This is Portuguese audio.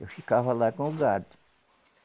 Eu ficava lá com o gado.